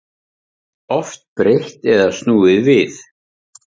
Oft breytt eða snúið við